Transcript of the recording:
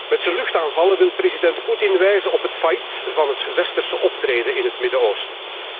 Met zijn luchtaanvallen wil president Poetin wijzen op het failliet van het westerse optreden in het Midden Oosten.